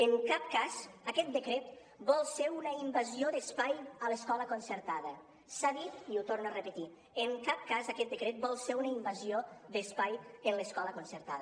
en cap cas aquest decret vol ser una invasió d’espai a l’escola concertada s’ha dit i ho torno a repetir en cap cas aquest decret vol ser una invasió d’espai a l’escola concertada